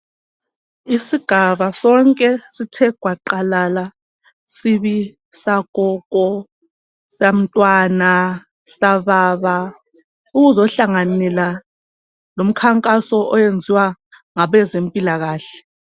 Isigaba sonke sithe gwaqalala sibi sagogo, samntwana, sababa ukuzohlanganela lomkhankaso oyenziwa ngabezempilakahle.